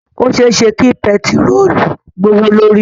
Ó ṣe é ṣe kí bẹntiróólù gbówó lórí.